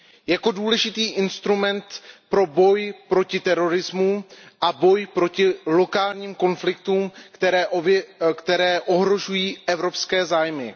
Jako důležitý instrument pro boj proti terorismu a boj proti lokálním konfliktům, které ohrožují evropské zájmy.